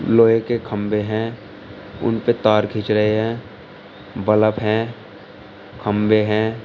लोहे के खंभे हैं उन पे तार खींच रहे हैं बलफ हैं खंबे है।